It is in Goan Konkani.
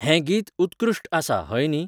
हें गीत उत्कृष्ट आसा हय न्ही